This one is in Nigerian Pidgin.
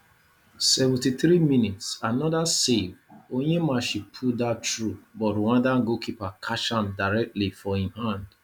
Seventy three mins another save onyemachi pull dat through but rwanda goalkeeper catch am directly for im hand